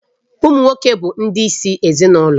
Ụmụ nwoke bụ ndị isi ezinụlọ